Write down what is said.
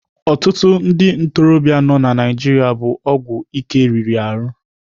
Ọtụtụ ndị ntorobịa nọ na Naijiria bụ ọgwụ ike riri ahụ.